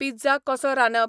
pizza कसो रांदप